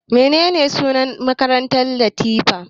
Menene sunan makarantar Latifa?